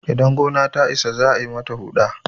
idan gona ta Isa za a yi mata Huɗa